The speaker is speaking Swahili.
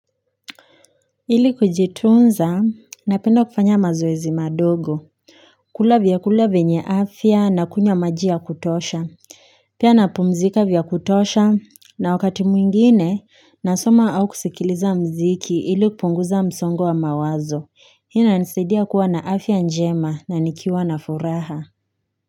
Ili kujitunza napenda kufanya mazoezi madogo kula vyakula venye afya na kunywa maji ya kutosha pia napumzika vya kutosha na wakati mwingine nasoma au kusikiliza muziki ili kupunguza msongo wa mawazo. Hii inanisaidia kuwa na afya njema na nikiwa na furaha.